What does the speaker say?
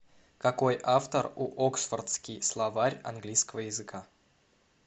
какой автор у оксфордский словарь английского языка